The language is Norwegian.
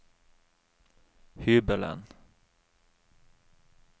hybelen